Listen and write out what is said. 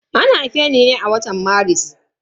An haife ni ne a watan Maris.